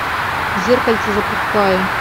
зеркальце запускай